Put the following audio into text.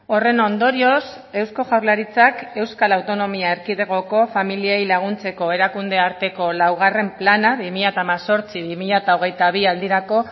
horren ondorioz eusko jaurlaritzak euskal autonomia erkidegoko familiei laguntzeko erakunde arteko laugarren plana bi mila hemezortzi bi mila hogeita bi aldirako